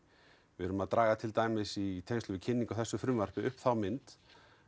við erum að draga til dæmis í kynningu á þessu frumvarpi upp þá mynd